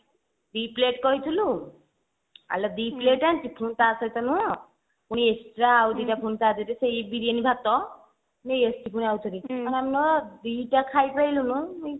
ଦି plate କହିଥିଲୁ ଆଲୋ ଦି plate ଆଣିଛି ପୁଣି ତା ସହିତ ନୁହଁ ପୁଣି extra ତା ଦିହରେ ପୁଣି ବିରିୟାନୀ ଭାତ ଆମେଲୋ ଦିଟା ଖାଇପାରିଲୁନି